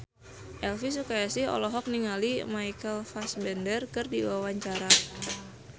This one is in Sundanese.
Elvi Sukaesih olohok ningali Michael Fassbender keur diwawancara